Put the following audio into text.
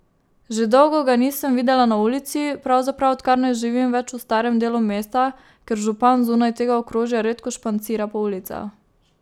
Že dolgo ga nisem videla na ulici, pravzaprav odkar ne živim več v starem delu mesta, ker župan zunaj tega okrožja redko špancira po ulicah.